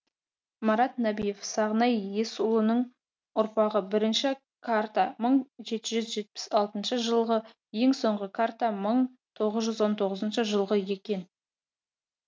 марат нәбиев сағынай есұлының ұрпағы бірінші карта мың жеті жүз жетпіс алтыншы жылғы ең соңғы карта мың тоғыз он тоғызыншы жылғы екен